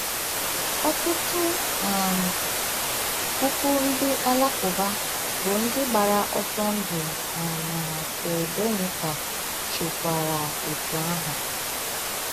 Ọtụtụ um puku ndị Alakụba bụ́ ndị gbagara ọsọ ndụ na na Srebrenica chekwara otú ahụ.